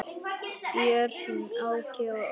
Börn: Áki og Össur.